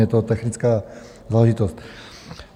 Je to technická záležitost.